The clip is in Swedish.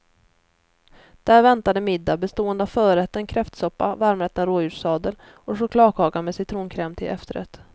Där väntade middag bestående av förrätten kräftsoppa, varmrätten rådjurssadel och chokladkaka med citronkräm till efterrätt.